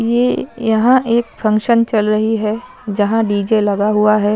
ये यहाँ एक फंक्शन चल रहीं हैं जहाँ डी_जे लगा हुआ हैं।